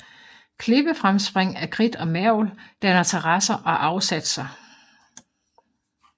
Klippefremspring af kridt og mergel danner terrasser og afsatser